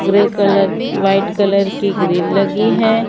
Grey colour white colour की grill लगी है।